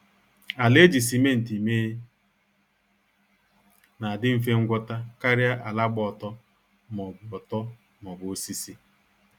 Ala eji simenti mee na-adi mfe ngwọta karịa ala gba ọtọ maọbụ ọtọ maọbụ osisi